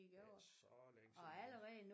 Det er ikke så længe siden